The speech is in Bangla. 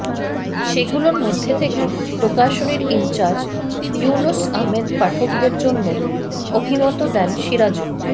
সেগুলোর মধ্যে থেকে প্রকাশনীর ইনচার্জ ইউনুস আহমেদ পাঠকদের জন্য অভিমত দেন সিরাজুল